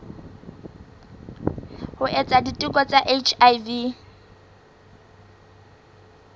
ho etsa diteko tsa hiv